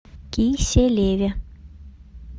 киселеве